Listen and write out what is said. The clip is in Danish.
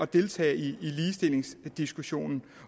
deltage i ligestillingsdiskussionen